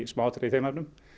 smáatriði í þeim efnum